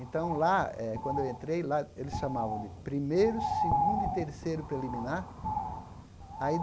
Então lá, eh quando eu entrei lá, eles chamavam de primeiro, segundo e terceiro preliminar. Aí